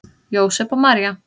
Jósep og María